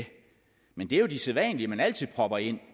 men det er jo de sædvanlige man altid propper ind